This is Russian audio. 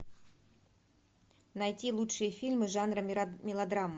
найти лучшие фильмы жанра мелодрама